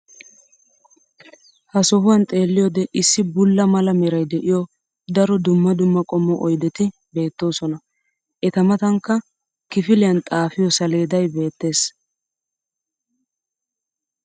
ha sohuwan xeelliyoode issi bulla mala meray de'iyo daro dumma dumma qommo oyddeti beetoosona. eta matankka kifiliyan xaafiyo saleedday beetees.